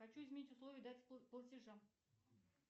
хочу изменить условия в дате платежа